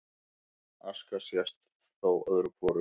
Aska sést þó öðru hvoru